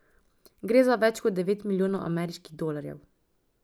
Gre za več kot devet milijonov ameriških dolarjev.